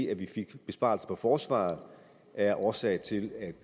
at vi fik besparelser på forsvaret er årsag til at